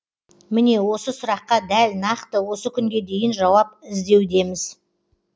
міне осы сұраққа дәл нақты осы күнге дейін жауап іздеудеміз